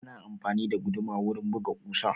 Ana amfani da guduma wurin buga ƙusa.